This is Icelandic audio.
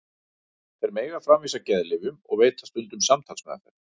Þeir mega framvísa geðlyfjum og veita stundum samtalsmeðferð.